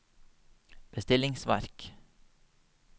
bestillingsverk